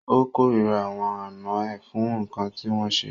O kòrira àwọn àná ẹ fún nkán ti wọn ṣe.